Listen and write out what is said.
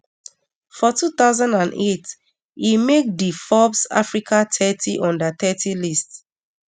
for two thousand and eight e make di forbes africa thirty under thirty list